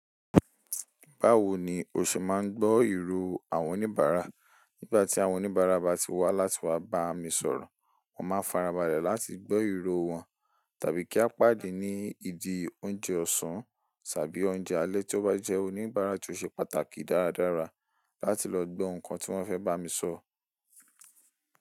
Báwo ni o ṣe ma ń gbọ́ ìró àwọn oníbàárà? Nígbà tí àwọn oníbàárà bá ti wá láti wá bá mi sọ̀rọ̀, wọ́n má farabalẹ̀ láti gbọ́ ìró wọn tàbí kí a pàdé ní ìdí oúnjẹ ọ̀sán tàbí ni oúnjẹ alẹ́ tó bá jẹ́ oníbàárà tí ó ṣe pàtàkì dáradára láti lọ gbọ́ nǹkan tí wọ́n fẹ́ bá mi sọ.